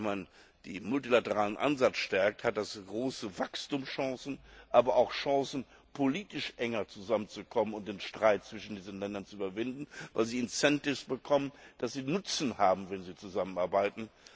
Wenn man den multilateralen Ansatz stärkt, hat das große Wachstumschancen, aber auch Chancen, politisch enger zusammenzukommen und den Streit zwischen diesen Ländern zu überwinden, weil sie Anreize bekommen, dass sie einen Nutzen haben, wenn sie zusammenarbeiten.